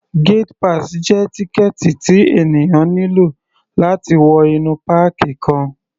Gate pass jẹ́ tíkẹ̀ẹ̀tì tí ènìyàn nílò láti wọ inú páàkì kan.